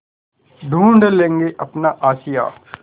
ढूँढ लेंगे अपना आशियाँ